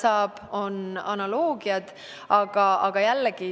Selleks on olemas analoogiad.